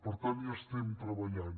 per tant hi estem treballant